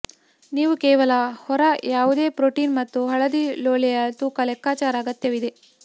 ನೀವು ಕೇವಲ ಹೊರ ಯಾವುದೇ ಪ್ರೋಟೀನ್ ಮತ್ತು ಹಳದಿ ಲೋಳೆಯ ತೂಕ ಲೆಕ್ಕಾಚಾರ ಅಗತ್ಯವಿದೆ